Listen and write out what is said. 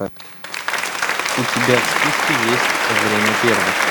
у тебя в списке есть время первых